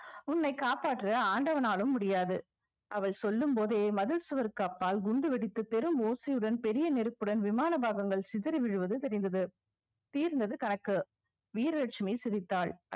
உன்னை காப்பாற்ற ஆண்டவனாலும் முடியாது அவள் சொல்லும் போதே மதில் சுவருக்கு அப்பால் குண்டு வெடித்து பெரும் ஓசையுடன் பெரிய நெருப்புடன் விமான பாகங்கள் சிதறி விழுவது தெரிந்தது தீர்ந்தது கணக்கு வீரலட்சுமி சிரித்தாள்